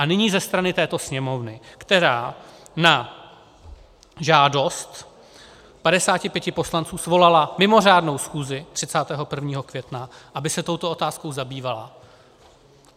A nyní ze strany této Sněmovny, která na žádost 55 poslanců svolala mimořádnou schůzi 31. května, aby se touto otázkou zabývala.